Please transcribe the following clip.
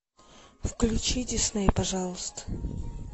включи дисней пожалуйста